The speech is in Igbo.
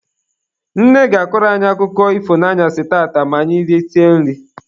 Nne ga-akọrọ anyị akụkọ ifo n'anyasị tata ma anyị risie nri.